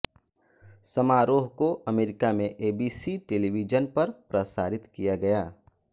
समारोह को अमेरिका में एबीसी टेलीविजन पर प्रसारित किया गया